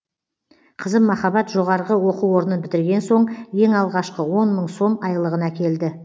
қызым махаббат жоғарғы оқу орнын бітірген соң ең алғашқы он мың сом айлығын әкелді